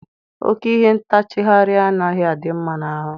Oke ihe ntachagharị anaghị adị mma n'ahụ.